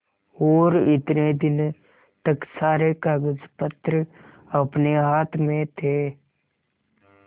और इतने दिन तक सारे कागजपत्र अपने हाथ में थे